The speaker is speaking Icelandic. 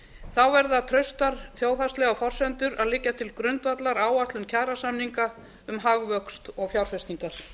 þá verða traustar þjóðhagslegar forsendur að liggja til grundvallar áætlun kjarasamninga um hagvöxt og fjárfestingar